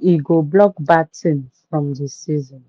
e go block bad thing from the season.